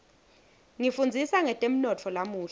ngifundzisa ngetemnotfo lamuhla